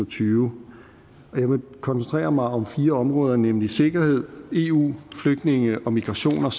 tyve og jeg vil koncentrere mig om fire områder nemlig sikkerhed eu flygtninge og migration og